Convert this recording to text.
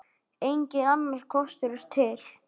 Enginn annar kostur er til.